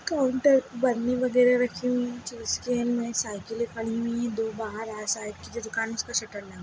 counter बर्नी वगैरा रखी गई जिसके में साइकिले पड़ी हुई है दो बाहर आ साइकिल की दुकान है जिसपे शटर लगा --